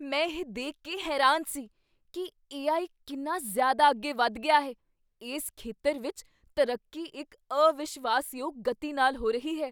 ਮੈਂ ਇਹ ਦੇਖ ਕੇ ਹੈਰਾਨ ਸੀ ਕੀ ਏ.ਆਈ. ਕਿੰਨਾ ਜ਼ਿਆਦਾ ਅੱਗੇ ਵਧ ਗਿਆ ਹੈ। ਇਸ ਖੇਤਰ ਵਿੱਚ ਤਰੱਕੀ ਇੱਕ ਅਵਿਸ਼ਵਾਸ਼ਯੋਗ ਗਤੀ ਨਾਲ ਹੋ ਰਹੀ ਹੈ।